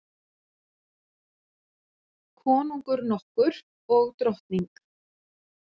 Konungur nokkur og drottning.